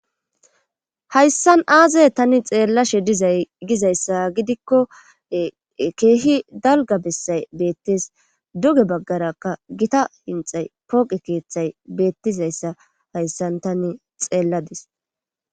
hayssan aazay tani xeellashe dizay gizayssa gidikko keehi dalga bessay beettes duge baggarakka gita inxay pooqe keeththay beettizayssa hayssan tani xeelladis